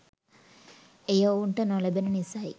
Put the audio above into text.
එය ඔවුන්ට නොලැබෙන නිසයි